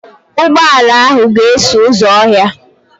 Ụgbọ ala ahụ ga-eso ụzọ ahịa.